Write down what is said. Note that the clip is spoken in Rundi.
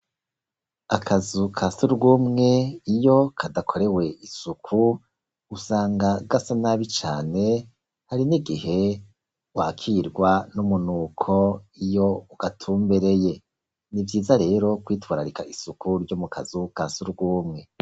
Akazu kasugumwe iyo kadakorewe isuku usanga gasa nabi cane, hari n'igihe wakirwa n'umunuko iyo ugatumbereye, n'ivyiza rero kwitwararika isuku ryo mu kazu kasugumwe.